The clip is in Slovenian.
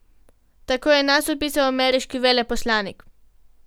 Tako nas je opisal ameriški veleposlanik.